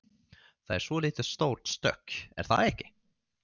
Það er svolítið stórt stökk er það ekki?